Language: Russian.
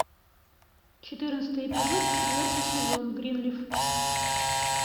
четырнадцатый эпизод четвертый сезон гринлиф